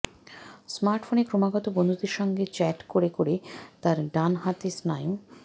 স্মার্টফোনে ক্রমাগত বন্ধুদের সঙ্গে চ্যাট করে করে তার ডান হাতের স্নায়ু